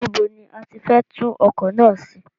Níbo ni a ti fẹ́ tún ọkọ̀ náà ṣe?